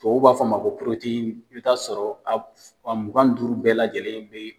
Tubabuw b'a fɔ a ma ko i b'i t'a sɔrɔ a mugan ni duuru bɛɛ lajɛlen be